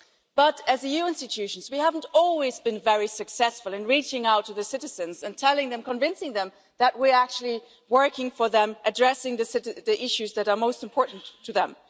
But as EU institutions we haven't always been very successful in reaching out to the citizens and telling them, convincing them, that we are actually working for them, addressing the issues that are most important to them.